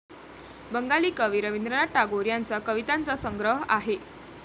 बंगाली कवि रविंद्रनाथ टागोर यांचा कवितांचा संग्रह आहे.